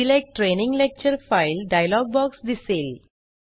select training lecture file dialog box दिसेल